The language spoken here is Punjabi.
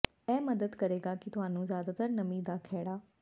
ਇਹ ਮਦਦ ਕਰੇਗਾ ਕਿ ਤੁਹਾਨੂੰ ਜ਼ਿਆਦਾ ਨਮੀ ਦਾ ਖਹਿੜਾ